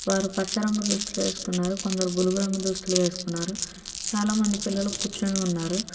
వారు పచ్చ రంగు దుస్తులు వేసుకున్నారు కొందరు దృష్టిలో వేసుకున్నారు చాలామంది పిల్లలు కూర్చునే ఉన్నారు